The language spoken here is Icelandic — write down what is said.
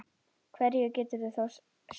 Hverju getur það þá sætt?